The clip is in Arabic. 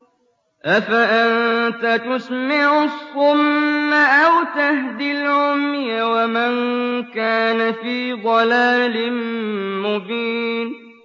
أَفَأَنتَ تُسْمِعُ الصُّمَّ أَوْ تَهْدِي الْعُمْيَ وَمَن كَانَ فِي ضَلَالٍ مُّبِينٍ